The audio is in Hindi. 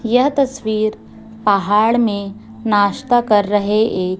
यह तस्वीर पहाड़ में नास्ता कर रहे एक--